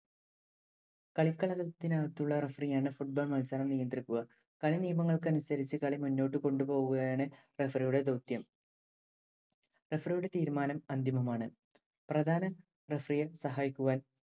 കളിക്കളത്തിനകത്തുള്ള referee യാണ്‌ football മത്സരം നിയന്ത്രിക്കുക. കളിനിയമങ്ങൾക്കനുസരിച്ച്‌ കളി മുന്നോട്ടു കൊണ്ടുപോവുകയാണ്‌ referee യുടെ ദൌത്യം. Referee യുടെ തീരുമാനം അന്തിമമാണ്‌. പ്രധാന referee യെ സഹായിക്കുവാൻ